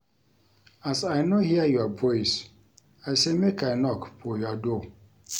As I no hear your voice, I say make I knock for your door.